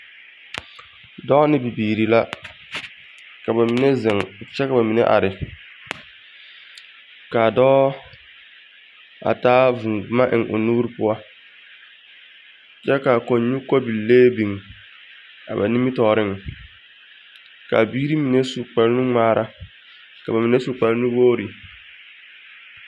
Dɔɔ ne bibiiri la. Ka ba mine dɔɔ, kyɛ ka ba mine zeŋ. Kaa dɔɔ a taa vūū boma eŋ o nuuri poɔ, kyɛ ka kɔnnyu kobillee biŋ a ba nimmitɔɔreŋ. Kaa biiri mine su kpare nuŋmaara, ka ba mine su kpare nuwogiri.